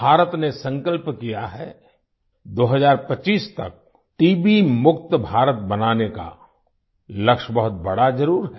भारत ने संकल्प किया है 2025 तक टीबी मुक्त भारत बनाने का लक्ष्य बहुत बड़ा ज़रूर है